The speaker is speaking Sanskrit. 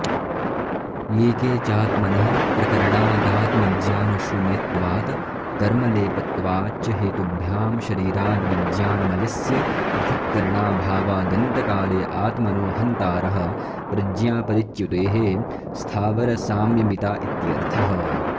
ये के चात्महनः प्रकरणादात्मज्ञानशून्यत्वात् कर्मलेपत्वाच्च हेतुभ्यां शरीराद्विज्ञानमयस्य पृथक्करणाभावादन्तकाले आत्मनो हन्तारः प्रज्ञापरिच्युतेः स्थावरसाम्यमिता इत्यर्थः